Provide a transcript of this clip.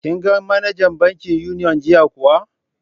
Kin ga manajar bankin Union jiya kuwa?